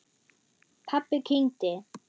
Pabbi kyngdi.